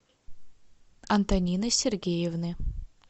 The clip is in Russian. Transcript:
антонины сергеевны